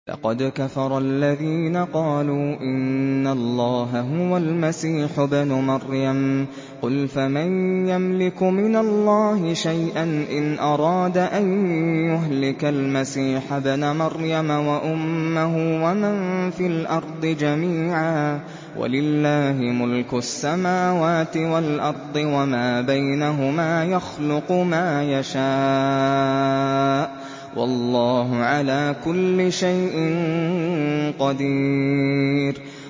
لَّقَدْ كَفَرَ الَّذِينَ قَالُوا إِنَّ اللَّهَ هُوَ الْمَسِيحُ ابْنُ مَرْيَمَ ۚ قُلْ فَمَن يَمْلِكُ مِنَ اللَّهِ شَيْئًا إِنْ أَرَادَ أَن يُهْلِكَ الْمَسِيحَ ابْنَ مَرْيَمَ وَأُمَّهُ وَمَن فِي الْأَرْضِ جَمِيعًا ۗ وَلِلَّهِ مُلْكُ السَّمَاوَاتِ وَالْأَرْضِ وَمَا بَيْنَهُمَا ۚ يَخْلُقُ مَا يَشَاءُ ۚ وَاللَّهُ عَلَىٰ كُلِّ شَيْءٍ قَدِيرٌ